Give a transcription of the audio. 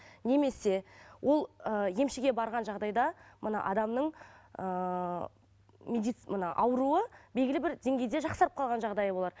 немесе ол ыыы емшіге барған жағдайда мына адамның ыыы мына ауруы белгілі бір деңгейде жақсарып қалған жағдайы болар